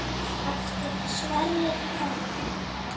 Eftir Sverri Berg.